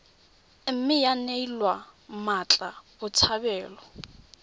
mme ya neelwa mmatla botshabelo